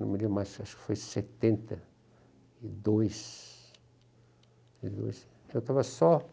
não me lembro mais, acho que foi em setenta e dois setenta e dois, eu estava só,